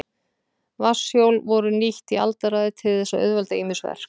Vatnshjól voru nýtt í aldaraðir til þess að auðvelda ýmis verk.